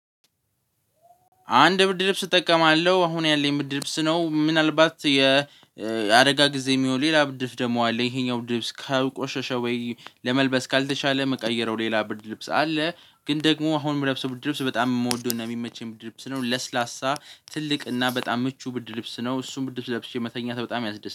አንድ ብርድ ልብስ እጠቀማለሁ አሁን ያለኝ ብርድ ልብስ ነው ምናልባት የአደጋ ጊዜ የሚሆን ሌላ ብርድ ልብስ ደግሞ አለ። ይሄኛው ብርድ ልብስ ካልቆሸሸ ወይ ለመልበስ ካልተቻለ ምቀይረው ሌላ ብርድ ልብስ አለ። ግን ደግሞ አሁን የምለብሰው ብርድ ልብስ በጣም የምወደው እና የሚመቸኝ ብርድ ልብስ ነው ለስላሳ ትልቅ እና በጣም ምቹ ብርድ ልብስ ነው። እሱን ብርድ ልብስ ለብሼ መተኛት በጣም ያስደስታል